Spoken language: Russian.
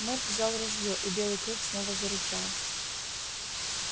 мэтт взял ружьё и белый клык снова зарычал